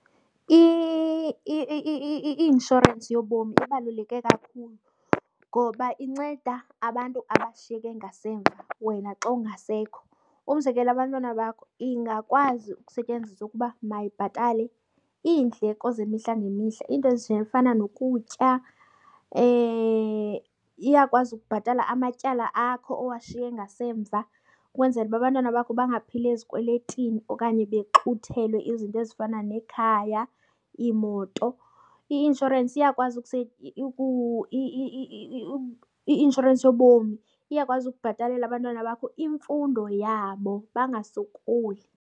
I-inshorensi yobomi ibaluleke kakhulu ngoba inceda abantu abashiyeke ngasemva wena xa ungasekho, umzekelo, abantwana bakho. Ingakwazi ukusetyenziswa ukuba mayibhatale iindleko zemihla ngemihla, iinto ezifana nokutya. Iyakwazi ukubhatala amatyala akho owashiye ngasemva ukwenzela uba abantwana bakho bangaphili ezikweletini okanye bexhuthelwe izinto ezifana nekhaya, iimoto. I-inshorensi iyakwazi , i-inshorensi yobomi iyakwazi ukubhatalela abantwana bakho imfundo yabo bangasokoli.